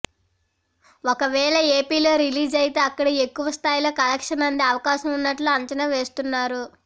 ఒకవేళ ఏపీలో రిలీజ్ అయితే అక్కడే ఎక్కువ స్థాయిలో కలెక్షన్స్ అందే అవకాశం ఉన్నట్లు అంచనా వేస్తున్నారు